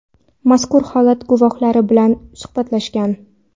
mazkur holat guvohlari bilan suhbatlashgan.